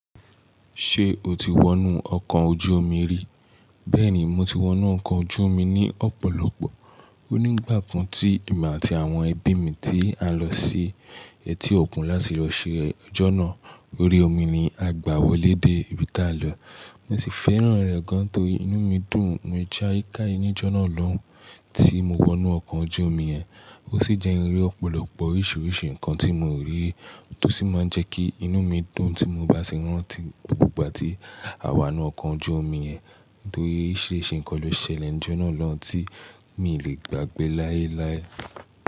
Ṣé o ti wọnú ọkọ̀ ojú omi rí? Bẹ́ẹ̀ni, mo ti wọnú ọkọ̀ ojú omi ní ọ̀pọ̀lọpọ̀. Ó nígbà kan tí èmi àti àwọn ẹbí mi tí a lọ sí etí òkun láti lọ ṣe ọjọ́nà lórí omi ni a gbà wọlé dé ibi tí a lọ. Mo sì fẹ́ràn rẹ̀ gan torí inú mi dùn níjá ìká ìníjọ́nà lọ́hùn tí mo wọnú ọkọ̀ ojú omi yẹn. Ó sì jẹ́ iré ọ̀pọ̀lọpọ̀ oríṣiríṣi nǹkan tí mo rí tó sì máa ń jẹ́ kí inú mi dùn tí mo bá sì rántí gbogbo ìgbà tí a wọ inú ọkọ̀ ojú omi yẹn torí oríṣiríṣi nǹkan ló ṣẹlẹ̀ níjọ́nà lọ́hùn tí mi ò lè gbàgbé láéláé.